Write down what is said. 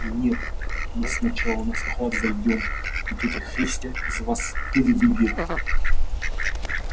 нет мы сначала на склад зайдём и тётя христя из вас пыль выбьет